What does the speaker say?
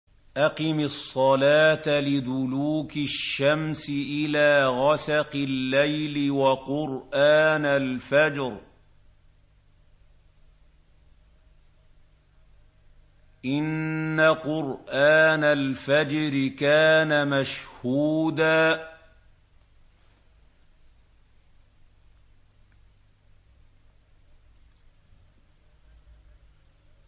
أَقِمِ الصَّلَاةَ لِدُلُوكِ الشَّمْسِ إِلَىٰ غَسَقِ اللَّيْلِ وَقُرْآنَ الْفَجْرِ ۖ إِنَّ قُرْآنَ الْفَجْرِ كَانَ مَشْهُودًا